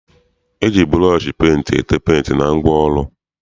E ji bụrọọshị penti ete penti na ngwaọrụ.